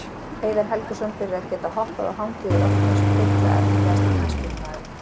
Heiðar Helguson fyrir að geta hoppað og hangið í loftinu eins og þyrla Efnilegasti knattspyrnumaðurinn?